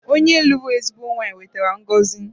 Onye lụrụ ezigbo nwaanyị wetara ngọzi